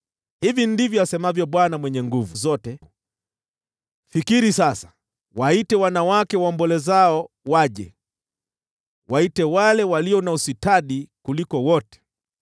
Hivi ndivyo asemavyo Bwana Mwenye Nguvu Zote: “Fikiri sasa! Waite wanawake waombolezao waje, waite wale walio na ustadi kuliko wote.